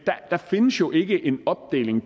der findes jo ikke en opdeling